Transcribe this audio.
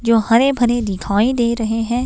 जो हरे भरे दिखाई दे रहे हैं।